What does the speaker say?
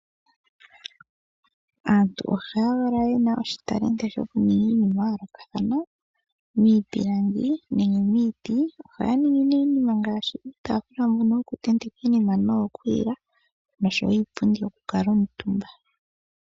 Aantu ohaya valwa ye na oshitalenti shokuninga iinima ya yoolokathana, miipilangi nenge miiti. Ohaya ningi nee iinima ngaashi iitaafula mbono yokutentekwa iinima noyo ku lila, noshowo iipundi yokukuuntumba